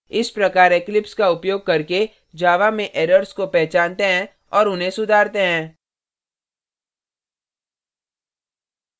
इस प्रकार eclipse का उपयोग करके java में errors को पहचानते हैं और उन्हें सुधारते हैं